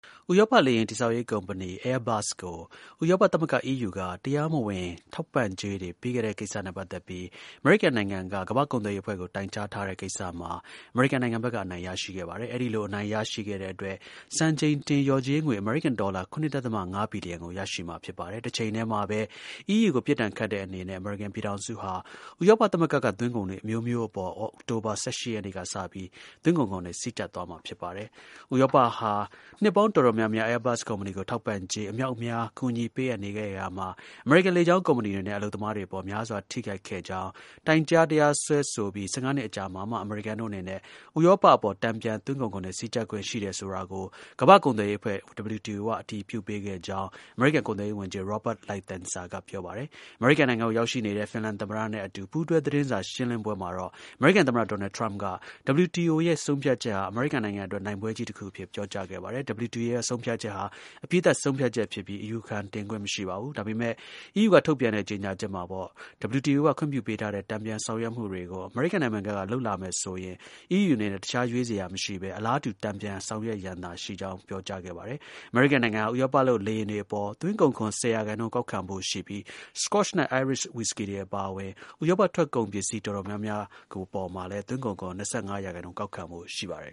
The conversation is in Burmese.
ဥရောပ လေယာဉ်တည်ဆောက်ရေး ကုမ္ပဏီ Airbus ကို ဥရောပ သမဂ္ဂ EU က တရားမဝင် ထောက်ပံံ့ကြေးတွေ ပေးခဲ့တဲ့ ကိစ္စနဲ့ ပတ်သက်ပြီး အမေရိကန် ပြည်ထောင်စုက ကမ္ဘာ့ ကုန်သွယ်ရေးအဖွဲ့ကို တိုင်ကြားထားတဲ့ ကိစ္စမှာ အမေရိကန် ဘက်က အနိုင်ရရှိခဲ့ပါတယ်။ အဲဒီ လို အနိုင်ရရှိတဲ့ အတွက် စံချိန်တင် လျော်ကြေးငွေ အမေရိကန် ဒေါ်လာ ၇ ဒသမ ၅ ဘီလီယံ ရရှိမှာ ဖြစ်ပါတယ်။ တစ်ချိန်တည်းမှာပဲ EU ကို ပြစ်ဒဏ်ခတ်တဲ့အနေနဲ့ အမေရိကန်ပြည်ထောင်စုဟာ ဥရောပသမဂ္ဂက သွင်းကုန်တွေ အမျိုးမျိုးအပေါ် အောက်တိုဘာလ ၁၈ ရက်နေ့ကစပြီး သွင်းကုန်ခွန်တွေ စည်းကြပ် သွားမှာ ဖြစ်ပါတယ်။ ဥရောပဟာ နှစ်ပေါင်း တော်တော်များများ Airbus ကုမ္ပဏီကို ထောက်ပံ့ကြေး အမြောက်အမြား ကူညီပေးအပ်နေခဲ့ရာမှာ အမေရိကန် လေကြောင်း ကုမ္ပဏီတွေနဲ့ အလုပ်သမားတွေ အပေါ် များစွာ ထိခိုက်ခဲ့ကြောင်း၊ တိုင်ကြား တရားစွဲဆိုပြီး ၁၅ နှစ် အကြာမှာမှ အမေရိကန်တို့ အနေနဲ့ ဥရောပအပေါ် တန်ပြန် သွင်းကုန်ခွန်တွေ စည်းကျပ်ခွင့် ရှိတယ်ဆိုတာကို ကမ္ဘာ့ ကုန်သွယ်ရေးအဖွဲ့ WTO က အတည်ပြုပေးခဲ့ကြောင်း အမေရိကန် ကုန်သွယ်ရေး ကိုယ်စားလှယ်တော် Robert Lighthizer က ပြောပါတယ်။ အမေရိကန် ပြည်ထောင်စုကို ရောက်ရှိနေတဲ့ ဖင်လန် သမ္မတနဲ့အတူ ပူးတွဲ သတင်းစာ ရှင်းလင်းပွဲမှာတော့ အမေရိကန် သမ္မတ ဒေါ်နယ်ထရမ့်က WTO ရဲ့ ဆုံးဖြတ်ချက်ဟာ အမေရိကန် အတွက် နိုင်ပွဲကြီး တစ်ခုအဖြစ် ပြောကြားခဲ့ပါတယ်။ WTO ရဲ့ ဆုံးဖြတ်ချက်ဟာ အပြီးသတ် ဆုံးဖြတ်ချက်ဖြစ်ပြီး အယူခံတင်ခွင့် မရှိပါဘူး။ ဒါပေမဲ့ EU က ထုတ်ပြန်တဲ့ ကြေညာချက်မှာတော့ WTO က ခွင့်ပြုပေးခဲ့တဲ့ တန်ပြန် ဆောင်ရွက်မှုတွေကို အမေရိကန် ပြည်ထောင်စုဘက်က လုပ်လာမယ်ဆိုရင် EU အနေနဲ့ တစ်ခြား ရွေးစရာ မရှိပဲ အလားတူ တန်ပြန်ဆောင်ရွက်ရန်သာ ရှိကြောင်း ပါရှိခဲ့ပါတယ်။ အမေရိကန်ဟာ ဥရောပလုပ် လေယာဉ်တွေအပေါ် သွင်းကုန်ခွန် ၁၀ ရာခိုင်နှုန်း ကောက်ခံဖို့ရှိပြီး Scotch နဲ့ Irish ဝီစကီတွေအပါအဝင် ဥရောပထွက် ကုန်ပစ္စည်း တော်တော်များများကို သွင်းကုန်ခွန် ၂၅ ရာခိုင်နှုန်း ကောက်ခံဖို့ ရှိပါတယ်